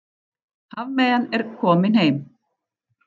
Hafmeyjan komin heim